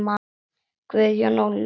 Guðjón og Louisa.